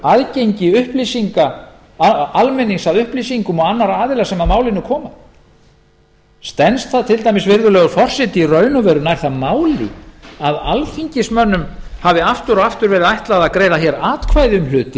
aðgengi almennings að upplýsingum og annarra aðila sem að málinu koma stenst það til dæmis virðulegur forseti í raun og veru nær það máli að alþingismönnum hafi aftur og aftur verið ætlað að greiða hér atkvæði um hluti